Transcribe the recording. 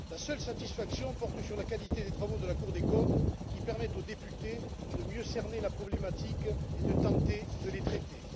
La seule satisfaction porte sur la qualité des travaux de la Cour des comptes, qui permettent aux députés de mieux cerner la problématique et de tenter de la traiter.